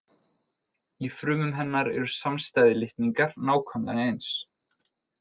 Í frumum hennar eru samstæðir litningar nákvæmlega eins.